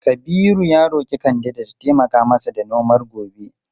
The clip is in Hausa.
Kabiru ya roki kande da ta taimaka masa da nomar gobe.